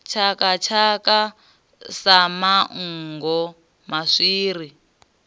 tshaka tshaka sa manngo maswiri